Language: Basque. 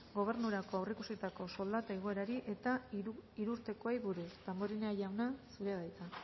gobernurako aurreikusitako soldata igoerari eta hirurtekoei buruz damborenea jauna zurea da hitza